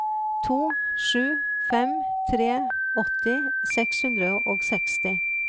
to sju fem tre åtti seks hundre og seksti